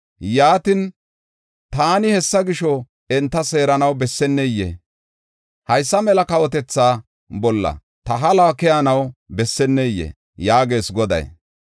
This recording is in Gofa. Yaatin, taani hessa gisho enta seeranaw bessennee? Haysa mela kawotetha bolla ta haluwa keyanaw bessennee?” yaagees Goday.